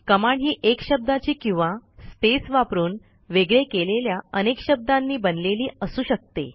command ही एक शब्दाची किंवा स्पेस वापरून वेगळे केलेल्या अनेक शब्दांनी बनलेली असू शकते